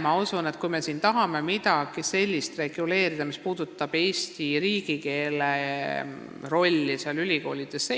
Ma usun, et kui me tahame reguleerida midagi sellist, mis puudutab Eesti riigikeele rolli ülikoolides,